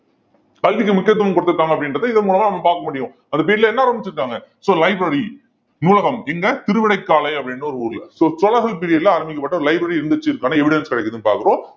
கல்விக்கு முக்கியத்துவம் கொடுத்துருக்காங்க அப்படின்றத இதன் மூலமா நம்ம பார்க்க முடியும் அந்த period ல என்ன ஆரம்பிச்சு இருக்காங்க so library நூலகம் எங்க திருவிடைக்காளை அப்படின்ற ஒரு ஊர்ல so சோழர்கள் period ல ஆரம்பிக்கப்பட்ட ஒரு library இருந்துச்சு அப்படிங்கறதுக்கான evidence கிடைக்குதுன்னு பார்க்கிறோம்